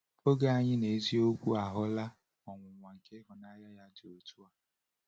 Oge anyị n’eziokwu ahụla ọnwụnwa nke ịhụnanya dị otu a.